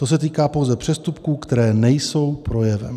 To se týká pouze přestupků, které nejsou projevem.